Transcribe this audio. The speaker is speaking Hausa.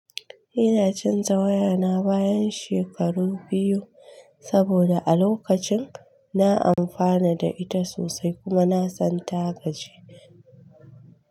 Ina canza wayana bayan shekaru biyu saboda a lokacin na amfana da ita sosai kuma na santa gaji.